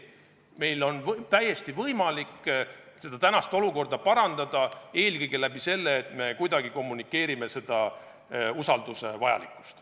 Meil on täiesti võimalik praegust olukorda parandada eelkõige läbi selle, et me teadvustame usalduse vajalikkust.